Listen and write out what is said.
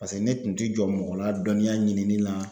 Paseke ne tun ti jɔ mɔgɔ la dɔniya ɲinini la